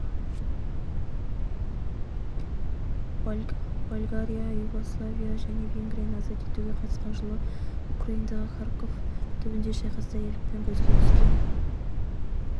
болгария югославия және венгрияны азат етуге қатысқан жылы украинадағы харьков түбіндегі шайқаста ерлікпен көзге түскен